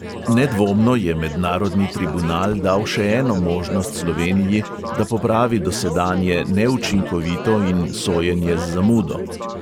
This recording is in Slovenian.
Nedvomno je mednarodni tribunal dal še eno možnost sloveniji, da popravi dosedanje neučinkovito in sojenje z zamudo.